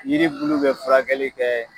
Yiri bulu bɛ furakɛli kɛ.